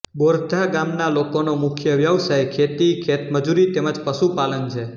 બોરધા ગામના લોકોનો મુખ્ય વ્યવસાય ખેતી ખેતમજૂરી તેમ જ પશુપાલન છે